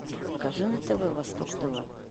покажи на тв восток тв